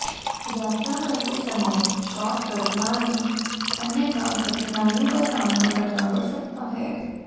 यात्रा करते समय शॉर्टकट न लें अन्यथा कठिनाइयों का सामना करना पड़ सकता है